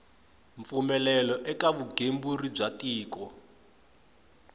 mpfumelelo eka vugembuli bya tiko